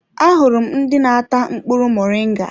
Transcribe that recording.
Ahụrụ m ndị n'ata mkpụrụ muringa.